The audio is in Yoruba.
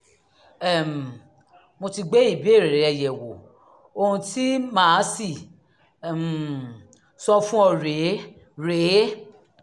um mo ti gbé ìbéèrè rẹ yẹ̀wò ohun tí màá sì um sọ fún ọ rèé rèé